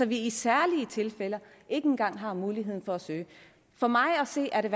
vi i særlige tilfælde ikke engang har muligheden for at søge for mig at se er det